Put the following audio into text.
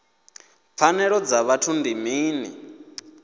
pfanelo dza vhuthu ndi mini